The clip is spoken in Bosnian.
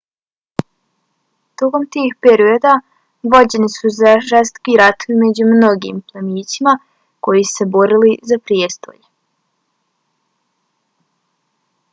tokom tih perioda vođeni su žestoki ratovi među mnogim plemićima koji su se borili za prijestolje